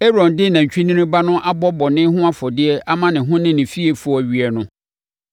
“Aaron de nantwinini ba no abɔ bɔne ho afɔdeɛ ama ne ho ne ne fiefoɔ awie no,